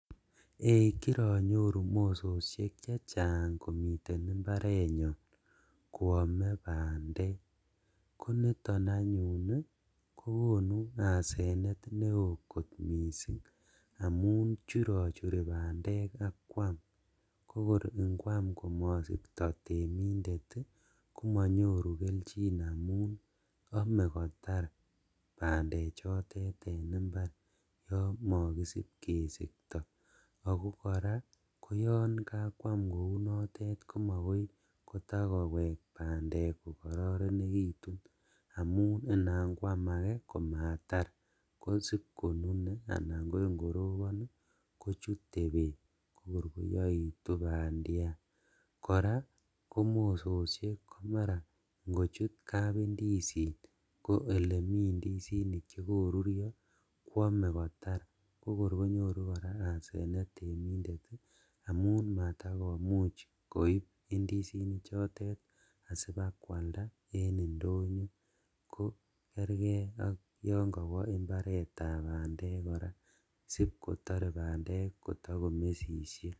Ei kironyoru mososhek chechang komiten imbarenyon koome bandek koniton anyun kokonu asenet newo kot missing' amun churochuri bandek akwam, kokor inkwam komosikto temindet ii komonyoru keljin amun ome kotar bandechitet en imbar yon mokisibkesikto ako koraa koyon kakwam kounonitet komokoikotakowek bandek kokororonekitun amun inam kwam ake komatar kosib konune anan ko ingorobon kochute beek kokor koyoitu bandiat, koraa komara mososhek inkochut kapindizin ko elemi indisinik chekorurio kwome kotar kokor konyoru koraa asenet temindet ii amun matakomuch koib indizinichotet asibakwalda en indonyo kokerkee ak yon kowo imbaretab bandek koraa sipkotore bandek kotokomesishek.